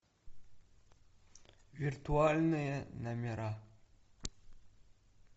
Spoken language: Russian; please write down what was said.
виртуальные номера